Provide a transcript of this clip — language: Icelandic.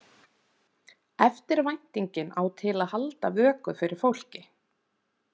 Eftirvæntingin á til að halda vöku fyrir fólki.